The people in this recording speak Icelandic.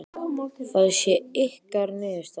Það sé ykkar niðurstaða?